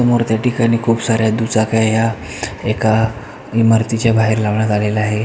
समोर त्या ठिकाणी खूप साऱ्या दुचाक्या ह्या एका इमारतीच्या बाहेर लावण्यात आलेल्या आहेत.